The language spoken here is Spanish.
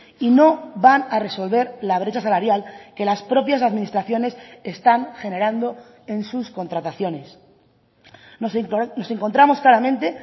y no van a resolver la brecha salarial que las propias administraciones están generando en sus contrataciones nos encontramos claramente